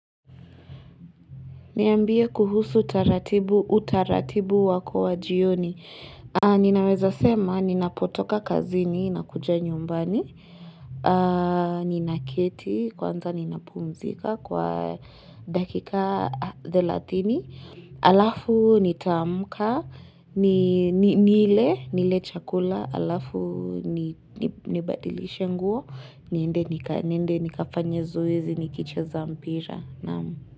Niambie kuhusu utaratibu wako wa jioni. Ninaweza sema ninapotoka kazini nakuja nyumbani. Ninaketi kwanza ninapumzika kwa dakika thelathini. Alafu nitaamka. Nile chakula. Alafu nibadilishe nguo. Niende nikafanye zoezi nikicheza mpira.